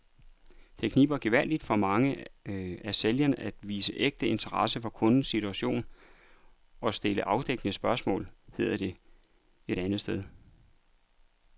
Det kniber gevaldigt for mange af sælgerne at vise ægte interesse for kundens situation og stille afdækkende spørgsmål, hedder det et andet sted.